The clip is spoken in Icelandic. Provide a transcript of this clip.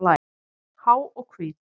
Há og hvít.